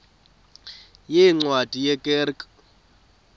yeencwadi ye kerk